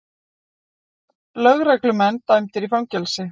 Lögreglumenn dæmdir í fangelsi